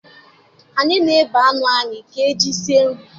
Anyị na-ebe anụ anyị ga-eji sie nri